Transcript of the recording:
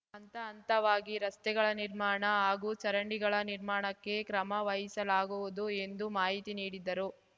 ಹಂತ ಹಂತವಾಗಿ ರಸ್ತೆಗಳ ನಿರ್ಮಾಣ ಹಾಗೂ ಚರಂಡಿಗಳ ನಿರ್ಮಾಣಕ್ಕೆ ಕ್ರಮ ವಹಿಸಲಾಗುವುದು ಎಂದು ಮಾಹಿತಿ ನೀಡಿದರು